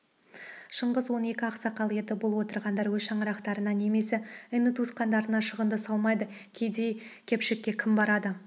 шыңғыс он екі ақсақал еді бұл отырғандар өз шаңырақтарына немесе іні-туысқандарына шығынды салмайды кедей-кепшікке кім барады